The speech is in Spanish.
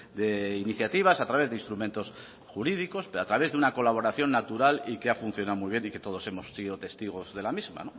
de iniciativas a través de instrumentos jurídicos pero a través de una colaboración natural y que ha funcionado muy bien y que todos hemos sido testigos de la misma